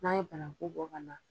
N'an ye banaku bɔ ka na